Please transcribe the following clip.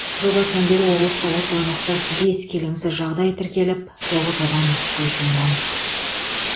жыл басынан бері облыста осыған ұқсас бес келеңсіз жағдай тіркеліп тоғыз адам көз жұмған